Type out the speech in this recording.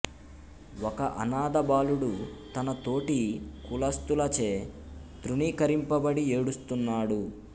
ఒక అనాథ బాలుడు తన తోటి కులస్తులచే తృణీకరింపబడి ఏడుస్తున్నాడు